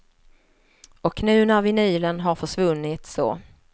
Och nu när vinylen har försvunnit så.